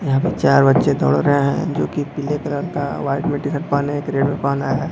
यहां पे चार बच्चे दौड़ रहे है जो की पीले कलर का व्हाइट मिट्टी तक पहने है ग्रे भी पहना हैं।